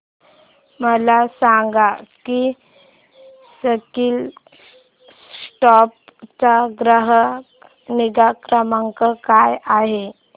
मला सांग की स्कीलसॉफ्ट चा ग्राहक निगा क्रमांक काय आहे